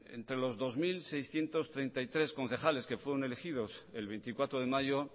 entre los dos mil seiscientos treinta y tres concejales que fueron elegidos el veinticuatro de mayo